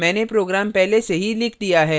मैने program पहले से ही लिख दिया है